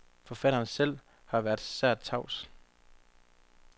Forfatteren selv har været sært tavs.